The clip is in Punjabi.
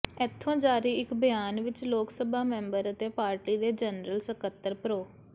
ਇੱਥੋਂ ਜਾਰੀ ਇਕ ਬਿਆਨ ਵਿਚ ਲੋਕ ਸਭਾ ਮੈਂਬਰ ਅਤੇ ਪਾਰਟੀ ਦੇ ਜਨਰਲ ਸਕੱਤਰ ਪ੍ਰੋ